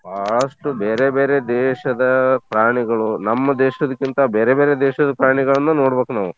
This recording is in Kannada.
ಬಾಳಷ್ಟು ಬೇರೇ ಬೇರೇ ದೇಶದ ಪ್ರಾಣಿಗಳು ನಮ್ ದೇಶದ್ಕಿಂತ ಬೇರೇ ಬೇರೇ ದೇಶದ್ ಪ್ರಾಣಿಗಳ್ನ ನೋಡ್ಬೇಕ್ ನಾವು.